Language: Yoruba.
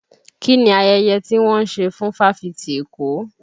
Kí ni ayẹyẹ ti wọ́n ń ṣe fún fáfitì Èkó?